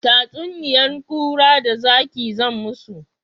Tatsuniyan kura da zaki zan musu